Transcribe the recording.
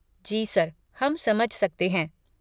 जी sir, हम समझ सकते हैं।